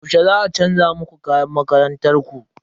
Yaushe za a chanza muku kayan makarantar ku?